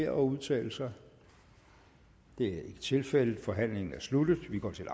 at udtale sig det er ikke tilfældet forhandlingen er sluttet vi går til